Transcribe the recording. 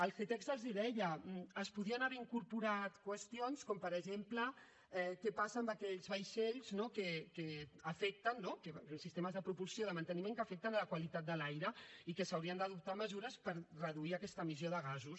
el ctesc els ho deia es podien haver incorporat qüestions com per exemple què passa amb aquells vaixells no amb sistemes de propulsió i de manteniment que afecten la qualitat de l’aire i que s’haurien d’adoptar mesures per reduir aquesta emissió de gasos